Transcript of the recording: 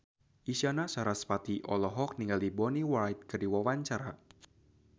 Isyana Sarasvati olohok ningali Bonnie Wright keur diwawancara